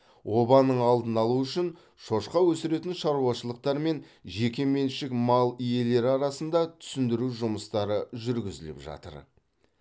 обаның алдын алу үшін шошқа өсіретін шаруашылықтар мен жекеменшік мал иелері арасында түсіндіру жұмыстары жүргізіліп жатыр